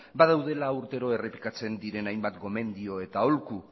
badaudela urtero errepikatzen diren hainbat gomendio eta aholku